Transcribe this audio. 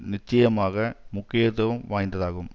நிச்சயமாக முக்கியத்துவம் வாய்ந்ததாகும்